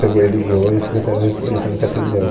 Pegou e ligou e a Secretaria Elet, Eletrônica atendeu.